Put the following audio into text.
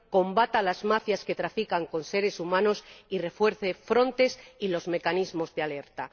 combata las mafias que trafican con seres humanos, y refuerce Frontex y los mecanismos de alerta.